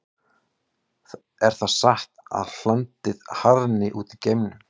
Er það satt að hlandið harðni út í geimnum?